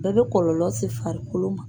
Bɛɛ bɛ kɔlɔlɔ se farikolo ma.